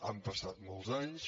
han passat molts anys